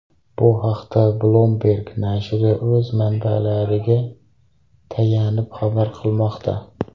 Bu haqda Bloomberg nashri o‘z manbalariga tayanib xabar qilmoqda .